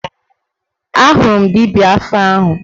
Ahụrụ m dibịa afa ahụ